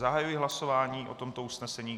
Zahajuji hlasování o tomto usnesení.